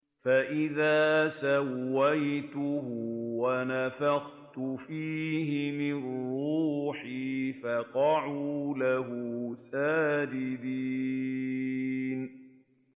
فَإِذَا سَوَّيْتُهُ وَنَفَخْتُ فِيهِ مِن رُّوحِي فَقَعُوا لَهُ سَاجِدِينَ